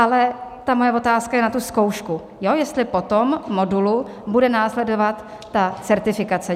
Ale ta moje otázka je na tu zkoušku, jestli po tom modulu bude následovat ta certifikace.